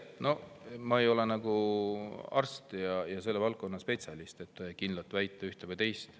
No ma ei ole arst ja selle valdkonna spetsialist, et kindlalt väita ühte või teist.